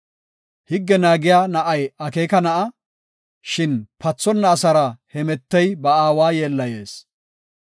Higge naagiya na7ay akeeka na7a; shin pathonna asara hemetey ba aawa yeellayees.